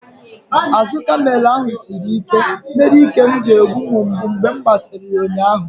Azụ kamel ahụ siri ike mere ike m na-egbu m mgbu mgbe m gbasịrị ya ụnyaahụ.